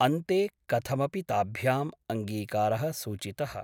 अन्ते कथमपि ताभ्याम् अङ्गीकारः सूचितः ।